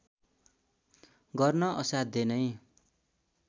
गर्न असाध्य नै